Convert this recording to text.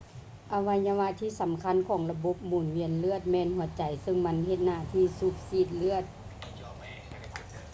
ອະໄວຍະວະທີ່ສຳຄັນຂອງລະບົບໝູນວຽນເລືອດ ແມ່ນຫົວໃຈ ຊຶ່ງມັນເຮັດໜ້າທີ່ສູບສີດເລືອດ